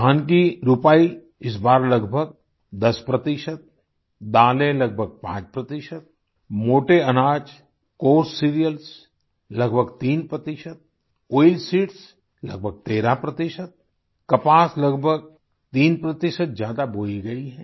धान की रुपाई इस बार लगभग 10 प्रतिशत दालें लगभग 5 प्रतिशत मोटे अनाजCoarse सीरियल्स लगभग 3 प्रतिशत आयलसीड्स लगभग 13 प्रतिशत कपास लगभग 3 प्रतिशत ज्यादा बोई गई है